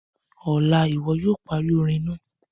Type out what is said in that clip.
Ọla, iwọ yoo pari orin naa!